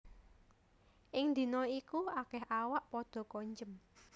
Ing dina iku akèh awak padha konjem